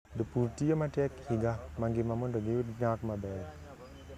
Jopur tiyo matek higa mangima mondo giyud nyak maber.